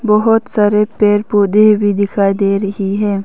बहुत सारे पेड़ पौधे भी दिखाई दे रहे हैं।